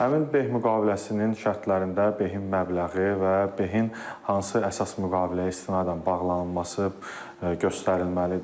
Həmin beh müqaviləsinin şərtlərində behin məbləği və behin hansı əsas müqaviləyə istinadən bağlanılması göstərilməlidir.